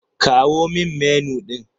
Kawo min Menu ɗin.